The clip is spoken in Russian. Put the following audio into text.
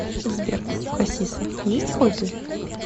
сбер у хасиса есть хобби